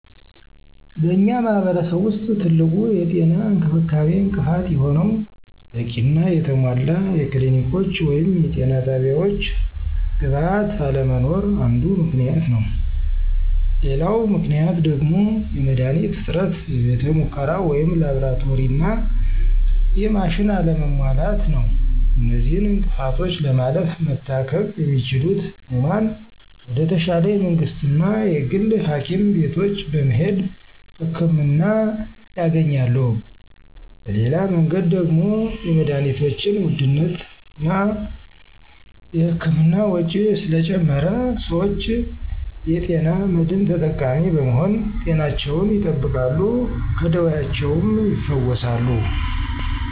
በእኛ ማህረሰብ ውስጥ ትልቁ የጤና እንክብካቤ እንቅፋት የሆነው በቂና የተሟላ የክሊኒኮች ወይም የጤና ጣቢያወች ግብዓት አለመኖር አንዱ ምክንያት ነው፤ ሌላው ምክንያት ደግሞ የመድሀኒት እጥረት፥ የቤተ ሙከራ ወይም ላብራቶሪና የማሽን አለመሟላት ነው። እነዚህን እንቅፍቶች ለማለፍ መታከም የሚችሉት ህሙማን ወደ ተሻለ የመንግስትና የግል ሀኪም ቤቶች በመሄድ ህክምና ያገኛሉ። በሌላ መንገድ ደግሞ የመድሀኒቶችን ውድነትና እና የህክምና ወጭ ስለጨመረ ሰወች የጤና መድን ተጠቃሚ በመሆን ጤናቸውን ይጠብቃሉ ከደወያቸውም ይፈወሳሉ።